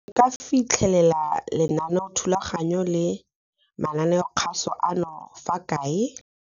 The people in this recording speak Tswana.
Nka fitlhela lenaneothulaganyo la mananeokgaso ano fa kae?